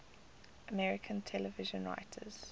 american television writers